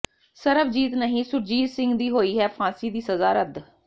ਸਰਬਜੀਤ ਨਹੀਂ ਸੁਰਜੀਤ ਸਿੰਘ ਦੀ ਹੋਈ ਹੈ ਫਾਂਸੀ ਦੀ ਸਜ਼ਾ ਰੱਦ